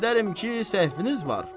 Zənn edərəm ki, səhviniz var.